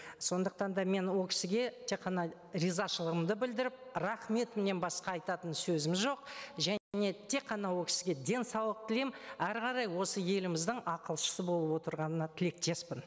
сондықтан да мен ол кісіге тек қана ризашылғымды білдіріп рахметімнен басқа айтатын сөзім жоқ және тек қана ол кісіге денсаулық тілеймін әрі қарай осы еліміздің ақылшысы болып отырғанына тілектеспін